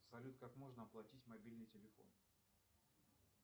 салют как можно оплатить мобильный телефон